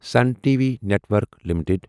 Sun T V network limited